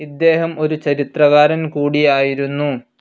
ഇദ്ദേഹം ഒരു ചരിത്രകാരൻ കൂടിയായിരുന്നു.